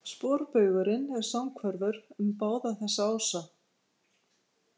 Sporbaugurinn er samhverfur um báða þessa ása.